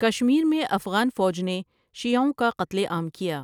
کشمیر میں افغان فوج نے شیعوں کا قتل عام کیا ۔